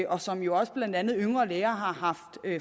og som jo også blandt andet yngre læger har